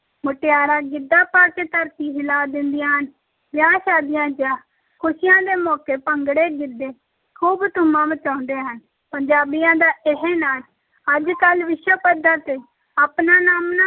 ਮੁਟਿਆਰਾਂ ਗਿੱਧਾ ਪਾ ਕੇ ਧਰਤੀ ਹਿਲਾ ਦਿੰਦੀਆਂ ਹਨ, ਵਿਆਹ-ਸ਼ਾਦੀਆਂ ਜਾਂ ਖ਼ੁਸ਼ੀਆਂ ਦੇ ਮੌਕੇ ਭੰਗੜੇ, ਗਿੱਧੇ ਖੂਬ ਧੂੰਮਾਂ ਮਚਾਉਂਦੇ ਹਨ, ਪੰਜਾਬੀਆਂ ਦੇ ਇਹ ਨਾਚ ਅੱਜ ਕੱਲ੍ਹ ਵਿਸ਼ਵ ਪੱਧਰ ‘ਤੇ ਆਪਣਾ ਨਾਮਣਾ